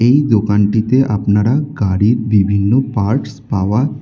এই দোকানটিতে আপনারা গাড়ির বিভিন্ন পার্টস পাওয়া--